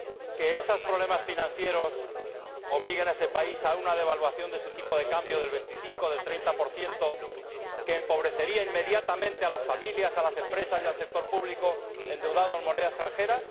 ¿Que esos problemas financieros obliguen a ese país a efectuar una devaluación de su tipo de cambio del 25 o del 30 que empobrecería inmediatamente a las familias, a las empresas y al sector público endeudado en moneda extranjera?